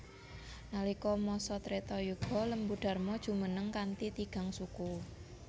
Nalika masa Treta Yuga Lembu Dharma jumeneng kanthi tigang suku